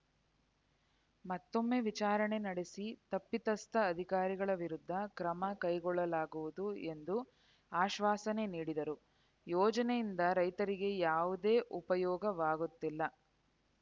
ಮತ್ತೊಮ್ಮೆ ವಿಚಾರಣೆ ನಡೆಸಿ ತಪ್ಪಿತಸ್ಥ ಅಧಿಕಾರಿಗಳ ವಿರುದ್ಧ ಕ್ರಮ ಕೈಗೊಳ್ಳಲಾಗುವುದು ಎಂದು ಅಶ್ವಾಸನೆ ನೀಡಿದರು ಯೋಜನೆಯಿಂದ ರೈತರಿಗೆ ಯಾವುದೇ ಉಪಯೋಗವಾಗುತ್ತಿಲ್ಲ